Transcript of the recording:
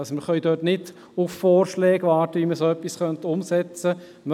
Wir können also nicht auf Vorschläge warten, wie man dergleichen umsetzen könnte.